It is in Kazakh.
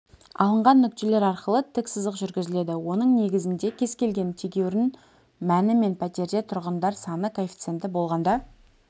алынған нүктелер арқылы тік сызық жүргізіледі оның негізінде кез келген тегеурін мәні мен пәтерде тұрғындар саны коэффициенті болғанда